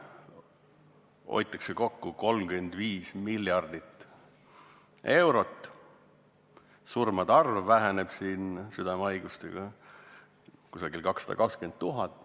On isegi arvestused tehtud: hoitakse kokku 35 miljardit eurot, surmade arv väheneb tänu südamehaiguste vähenemisele 220 000 võrra.